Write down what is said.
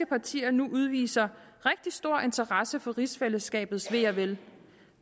partier nu udviser rigtig stor interesse for rigsfællesskabets ve og vel